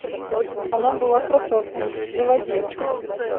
она была красоткой заводи